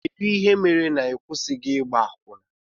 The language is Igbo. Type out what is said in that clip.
Kedụ ihe mere na ịkwụsighi ịgba akwụna?